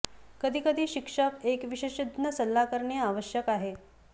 कधी कधी शिक्षक एक विशेषज्ञ सल्ला करणे आवश्यक आहे